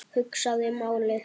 Hugsaði málið.